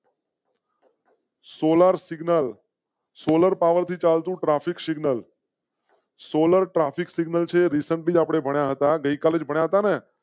Solar signal solar પાવરથી ચાલ તો traffic signal solar traffic signal recently ભણ્યા હતા. ગઈકાલે જ ભણ્યા હતા